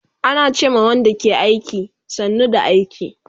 Ana ce ma Wanda ke aiki, sannu da aiki